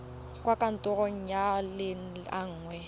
kwa kantorong nngwe le nngwe